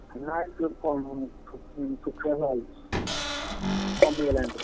ନାଇଁ ସେ କମିନି ଶୁଖିନି ଶୁଖିଆ ଯାଇଛି, କମିଗଲାଣି ପୁରା।